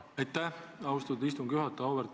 Aitäh, austatud istungi juhataja!